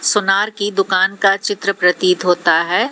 सुनार की दुकान का चित्र प्रतीत होता है।